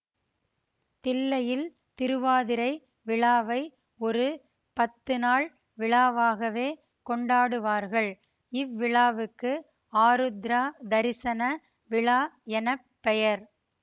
தில்லையில் திருவாதிரை விழாவை ஒரு பத்து நாள் விழாவாகவே கொண்டாடுவார்கள் இவ்விழாவுக்கு ஆருத்ரா தரிசன விழா என பெயர்